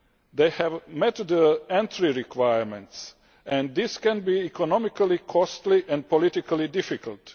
They have met the entry requirements and this can be economically costly and politically difficult.